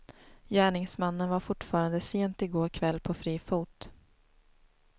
Gärningsmannen var fortfarande sent i går kväll på fri fot.